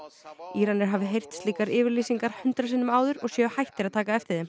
Íranir hafi heyrt slíkar yfirlýsingar hundrað sinnum áður og séu hættir að taka eftir þeim